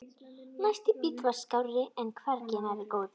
Næsti bíll var skárri en hvergi nærri góður.